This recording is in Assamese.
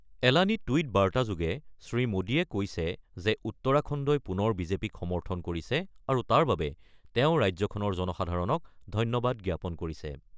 এলানি টুইট বাৰ্তাযোগে শ্ৰীমোডীয়ে কৈছে যে উত্তৰাখণ্ডই পুনৰ বিজেপিক সমৰ্থন কৰিছে আৰু তাৰ বাবে তেওঁ ৰাজ্যখনৰ জনসাধাৰণক ধন্যবাদ জ্ঞাপন কৰিছে।